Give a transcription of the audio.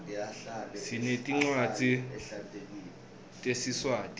sinetncwadzi tesiswati